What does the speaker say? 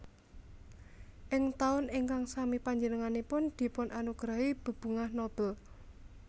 Ing taun ingkang sami panjenenganipun dipun anugerahi bebungah Nobel